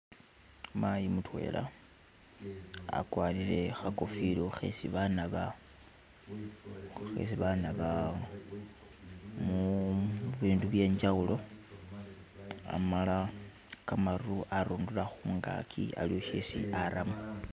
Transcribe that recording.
Mayi mutwela akwarire kha kofila khesi ba naba mu bindu bye njawulo,, amala kamaru arundura khungaki aliwo shesi aramo.